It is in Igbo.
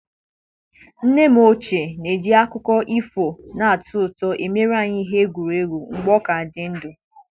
Nne m ochie ji akụkọ ifo na-atọ ụtọ emere anyị ihe egwuregwu mgbe ọ ka dị ndụ.